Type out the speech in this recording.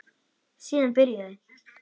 Síðan byrjaði